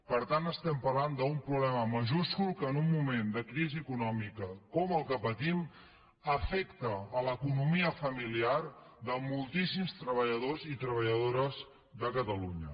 per tant estem parlant d’un problema majúscul que en un moment de crisi econòmica com el que patim afecta l’economia familiar de moltíssims treballadors i treballadores de catalunya